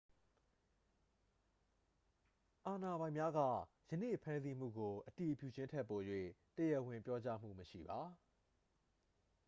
အာဏာပိုင်များက ယနေ့ဖမ်းဆီးမှုကို အတည်ပြုခြင်းထက် ပို၍ တရားဝင်ပြောကြားမှုမရှိပါ